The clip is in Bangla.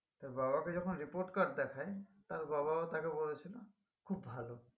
তার বাবাকে যখন report card দেখায় তার বাবাও তাকে বলেছিলো খুব ভালো